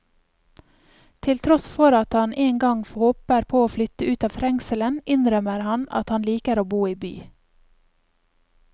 Til tross for at han en gang håper å flytte ut av trengselen, innrømmer han at han liker å bo i by.